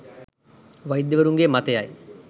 වෛද්‍යවරුන්ගේ මතයයි.